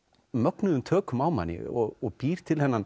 mögnuðum tökum á manni og býr til þennan